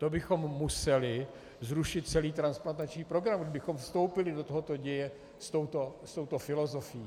To bychom museli zrušit celý transplantační program, kdybychom vstoupili do tohoto děje s touto filozofií.